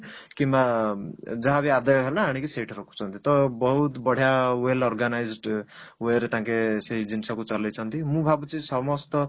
କିମ୍ବା ମ ଯାହାବି ଆଦାୟ ହେଲା ତ ଆଣିକି ସେଇଠି ରଖୁଛନ୍ତି ତ ବହୁତ ବଢିଆ well organised way ରେ ତାଙ୍କେ ସେଇ ଜିନିଷକୁ ଚଲେଇଛନ୍ତି ମୁଁ ଭାବୁଛି ସମସ୍ତ